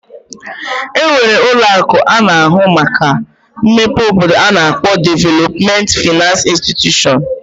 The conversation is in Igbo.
E nwere ụlọ akụ na-ahụ maka mmepe obodo a na-akpọ Development finance institution.